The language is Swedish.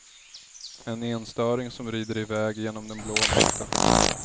En enstöring som rider i väg genom den blå natten.